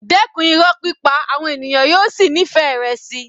Dẹ́kun pípa Irọ́ àwọn ènìyàn yóò sì nífẹ̀ẹ́ rẹ síi.